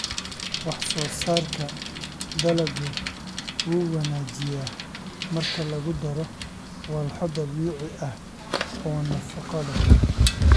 Wax-soo-saarka dalaggu wuu wanaajiyaa marka lagu daro walxo dabiici ah oo nafaqo leh.